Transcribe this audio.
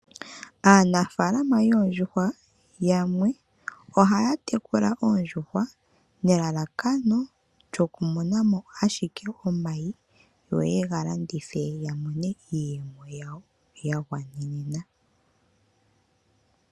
Aanafaalama yoondjuhwa yamwe ohaya tekula oondjuhwa nelalakano lyokumona mo ashike omayi yo yega landithe yamone iiyemo yawo ya gwanenena.